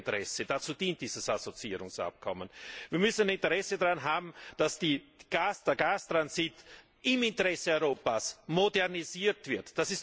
Das ist unser Interesse, dazu dient dieses Assoziierungsabkommen. Wir müssen ein Interesse daran haben, dass der Gastransit im Interesse Europas modernisiert wird.